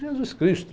Jesus Cristo.